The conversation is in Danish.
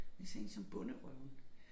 Men sådan én som Bonderøven